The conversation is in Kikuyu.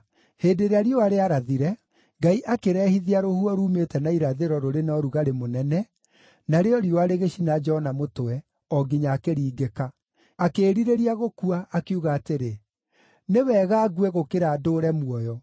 Hĩndĩ ĩrĩa riũa rĩarathire, Ngai akĩrehithia rũhuho ruumĩte na irathĩro rũrĩ na ũrugarĩ mũnene, narĩo riũa rĩgĩcina Jona mũtwe, o nginya akĩringĩka. Akĩĩrirĩria gũkua, akiuga atĩrĩ, “Nĩ wega ngue gũkĩra ndũũre muoyo.”